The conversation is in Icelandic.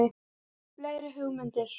Fleiri hugmyndir?